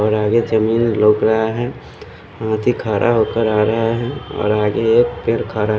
और आगे जमीन लोकला है हाथी खरा होकर आ रहा है और आगे एक पेर खड़ा--